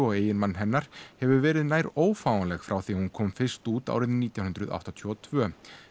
og eiginmann hennar hefur verið nær ófáanleg frá því að hún kom fyrst út árið nítján hundruð áttatíu og tvö